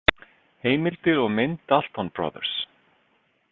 Heimildir og mynd Dalton Brothers.